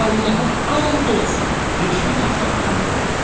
Allaha and olsun, heç nədən xəbərim yoxdur.